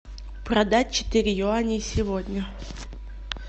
продать четыре юаней сегодня